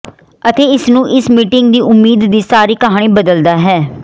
ਅਤੇ ਇਸ ਨੂੰ ਇਸ ਮੀਟਿੰਗ ਦੀ ਉਮੀਦ ਦੀ ਸਾਰੀ ਕਹਾਣੀ ਬਦਲਦਾ ਹੈ ਹੈ